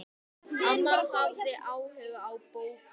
Amma hafði áhuga á bókum.